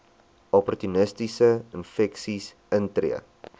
opportunistiese infeksies intree